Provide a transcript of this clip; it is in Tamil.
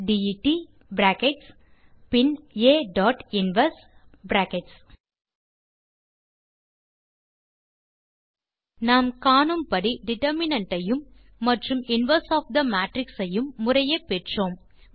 Adet பின் Ainverse நாம் காணும்படி டிட்டர்மினன்ட் ஐயும் மற்றும் இன்வெர்ஸ் ஒஃப் தே மேட்ரிக்ஸ் ஐயும் முறையே பெற்றோம்